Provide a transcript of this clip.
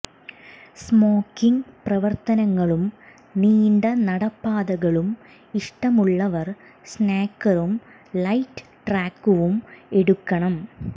smoking പ്രവർത്തനങ്ങളും നീണ്ട നടപ്പാതകളും ഇഷ്ടമുള്ളവർ സ്നാക്കറും ലൈറ്റ് ട്രാക്കുവും എടുക്കണം